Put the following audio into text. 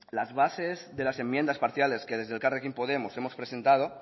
las bases de las enmiendas parciales que desde elkarrekin podemos hemos presentado